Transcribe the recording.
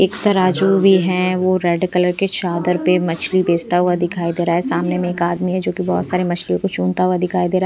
एक तराजू भी है वो रेड कलर के चादर पर मछलीबेचता हुआ दिखाई दे रहा है सामने में एक आदमी है जो कि बहुत सारी मछलियों को चुनता हुआ दिखाई दे रहा है।